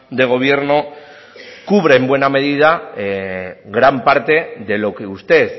de gobierno cubre en buena medida gran parte de lo que usted